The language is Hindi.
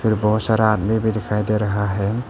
इधर बहुत सारा आदमी भी दिखाई दे रहा है।